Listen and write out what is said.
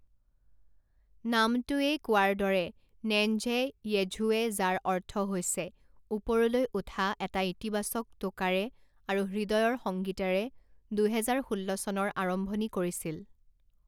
নামটোৱেই কোৱাৰ দৰে নেঞ্জে য়েঝুৱে যাৰ অৰ্থ হৈছে ওপৰলৈ উঠা এটা ইতিবাচক টোকাৰে আৰু হৃদয়ৰ সংগীতেৰে দুহেজাৰ ষোল্ল চনৰ আৰম্ভণি কৰিছিল।